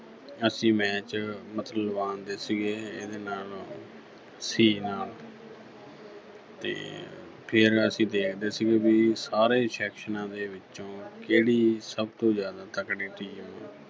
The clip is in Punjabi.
ਅਸੀਂ match ਮਤਲਬ ਲਵਾ ਦਿੰਦੇ ਸੀਗੇ ਇਹਦੇ ਨਾਲ C ਨਾਲ ਤੇ ਫਿਰ ਅਸੀਂ ਦੇਖਦੇ ਸੀਗੇ ਵੀ ਸਾਰੇ sections ਦੇ ਵਿੱਚੋਂ ਕਿਹੜੀ ਸਭ ਤੋਂ ਜ਼ਿਆਦਾ ਤਕੜੀ team